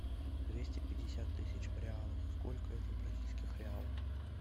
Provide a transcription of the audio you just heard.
двести пятьдесят тысяч в реалах сколько это в бразильских реалах